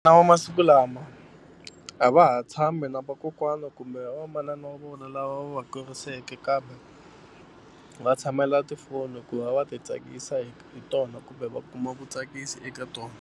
Na wa masiku lama a va ha tshami na vakokwana kumbe va manana wa vona lava va kuriseke kambe va tshamela tifoni ku va va ti tsakisa hi hi tona kumbe va kuma vutsakisi eka tona.